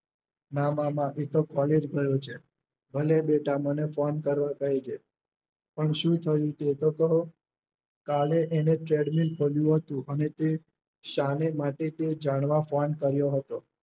ના મામા એતો કોલેજ ગયો છે ભલે બેટા મને ફોન કરવા કેજે પણ શું થયું તે તો કહો કાલે તેને ચેડમીન ખોલ્યું હતું અને તે શાને માટે તે જાણવા ફોન કર્યો હતો.